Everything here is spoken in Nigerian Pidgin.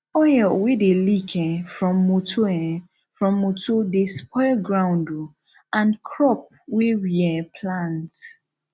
oil wey dey leak um from motor um from motor dey spoil ground um and crop wey we um plant